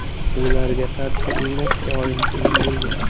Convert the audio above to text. Ularga qarshi o‘ynash doim qiyin bo‘lgan.